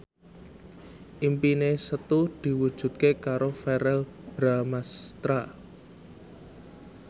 impine Setu diwujudke karo Verrell Bramastra